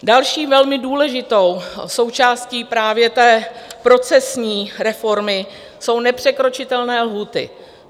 Další velmi důležitou součástí právě té procesní reformy jsou nepřekročitelné lhůty.